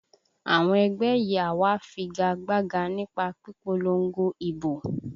Àwọn ẹgbẹ́ yìí á wá figa gbága nípa pípolongo ìbò